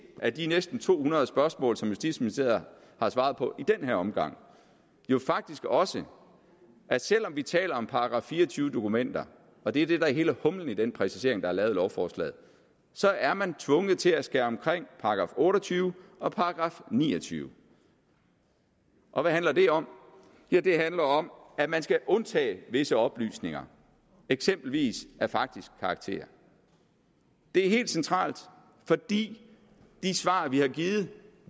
af de næsten to hundrede spørgsmål som justitsministeriet har svaret på den her omgang jo faktisk også at selv om vi taler om § fire og tyve dokumenter og det er det der er hele humlen i den præcisering der er lavet i lovforslaget så er man tvunget til at skulle omkring § otte og tyve og § niogtyvende og hvad handler det om ja det handler om at man skal undtage visse oplysninger eksempelvis af faktisk karakter det er helt centralt fordi de svar vi har givet jo